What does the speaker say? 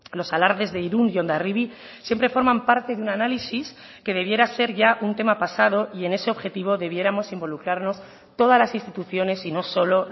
los alardes de irún y hondarribia siempre forman parte de un análisis que debiera ser ya un tema pasado y en ese objetivo debiéramos involucrarnos todas las instituciones y no solo